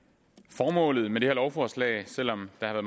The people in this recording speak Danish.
formålet med det her lovforslag selv om der